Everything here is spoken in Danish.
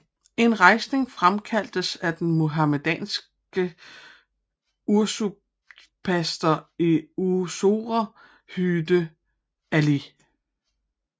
En rejsning fremkaldtes af den muhammedanske usurpator i Mysore Hyder Ali